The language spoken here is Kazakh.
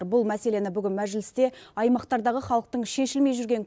бұл мәселені бүгін мәжілісте аймақтардағы халықтың шешілмей жүрген